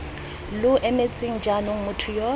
lo emetseng jaanong motho yo